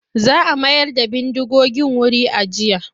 Za a mayar da bindigogin wuri ajiya.